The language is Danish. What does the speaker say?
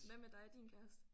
Hvad med dig og din kæreste?